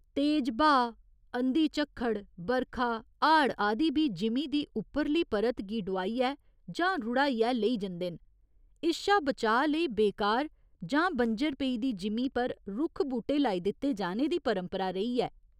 तेज ब्हाऽ, अंधी झक्खड़, बरखा, हाड़ आदि बी जिमीं दी उप्परली परत गी डुआइयै जां रुढ़ाइयै लेई जंदे न, इस शा बचाऽ लेई बेकार जां बंजर पेई दी जिमीं पर रुक्ख बूह्टे लाई दित्ते जाने दी परंपरा रेही ऐ।